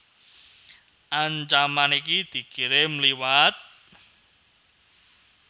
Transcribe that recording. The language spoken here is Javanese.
Ancaman iki dikirim liwat